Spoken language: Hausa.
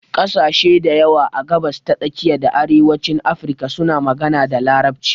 Ƙasashe dayawa a gabasa ta tsakiya da arewacin Afirka suna magana da Larabci.